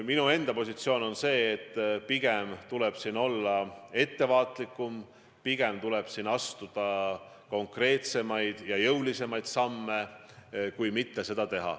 Minu enda positsioon on, et pigem tuleb olla ettevaatlikum, pigem tuleb astuda konkreetsemaid ja jõulisemaid samme.